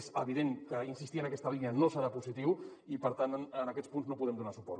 és evident que insistir en aquesta línia no serà positiu i per tant en aquests punts no podem donar suport